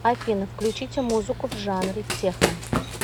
афина включите музыку в жанре техно